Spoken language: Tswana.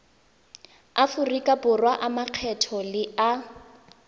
aforika borwa a makgetho a